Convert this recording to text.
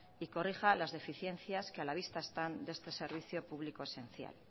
y corrija las deficiencias que a la vista están de este servicio público esencial